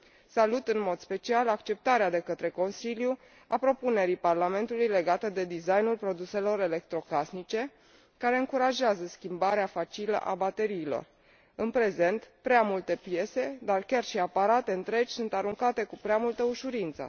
Salut în mod special acceptarea de către Consiliu a propunerii Parlamentului legate de designul produselor electrocasnice, care încurajează schimbarea facilă a bateriilor. În prezent, prea multe piese, dar chiar și aparate întregi sunt aruncate cu prea multă ușurință.